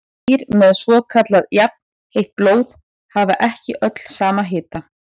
Dýr með svokallað jafnheitt blóð hafa ekki öll sama hita.